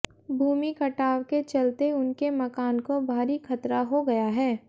भूमि कटाव के चलते उनके मकान को भारी खतरा हो गया है